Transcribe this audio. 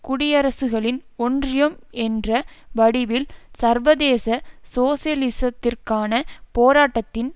குடியரசுகளின் ஒன்றியம் என்ற வடிவில் சர்வதேச சோசியலிசத்திற்கான போராட்டத்தின்